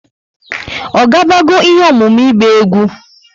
O ga bago ihe ọmụmụ ịgba egwú?